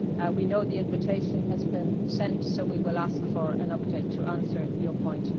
We know the invitation has been sent so we will ask for an update to answer your point.